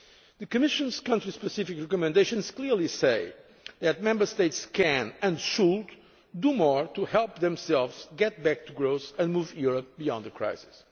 The Commission's country specific recommendations clearly say that Member States can, and should, do more to help themselves get back to growth and move Europe beyond the crisis.